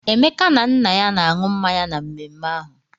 Emeka na nna ya na-aṅụ mmanya na mmemme ahụ.